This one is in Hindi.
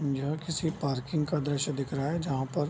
यह किसी पार्किंग का दृश्य दिख रहा है जहाँ पर --